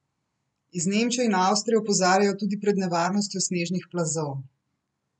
Iz Nemčije in Avstrije opozarjajo tudi pred nevarnostjo snežnih plazov.